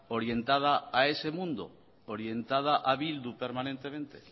orientada a ese mundo orientada a bildu permanentemente